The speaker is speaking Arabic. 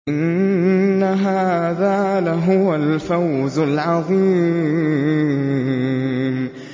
إِنَّ هَٰذَا لَهُوَ الْفَوْزُ الْعَظِيمُ